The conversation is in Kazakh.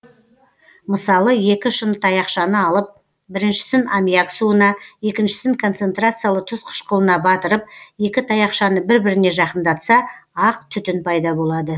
мысалы екі шыны таяқшаны алып біріншісін аммиак суына екіншісін концентрациялы тұз қыішқылына батырып екі таяқшаны бір біріне жақындатса ақ түтін пайда болады